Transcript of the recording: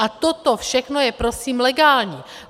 A toto všechno je prosím legální.